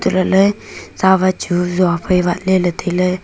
hantoh lah ley tsawat chu zua phai wat ley ley tai ley.